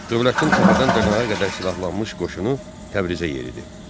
Dövlətin təpədən dırnağa qədər silahlanmış qoşunu Təbrizə yeridi.